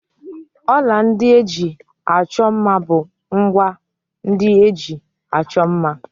Ọla ndị eji achọ mma bụ ngwá ndị eji achọ mma.